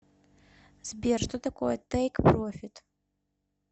сбер что такое тейк профит